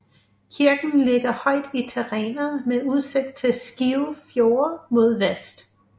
Kirken ligger højt i terrænet med udsigt til Skive Fjord mod vest